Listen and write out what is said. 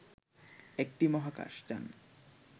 একটি মহাকাশ যান